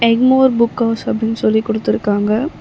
Egmore book house அப்டினு சொல்லி குடுத்துருக்காங்க.